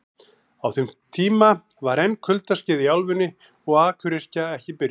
Á þeim tíma var enn kuldaskeið í álfunni og akuryrkja ekki byrjuð.